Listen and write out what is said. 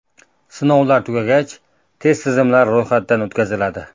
Sinovlar tugagach, test tizimlari ro‘yxatdan o‘tkaziladi.